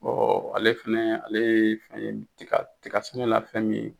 ale fɛnɛ ale ye fɛn ye tiga tiga sɛnɛ la fɛn min ye